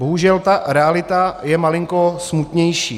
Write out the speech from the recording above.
Bohužel ta realita je malinko smutnější.